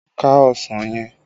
Ká ọsàn yẹn!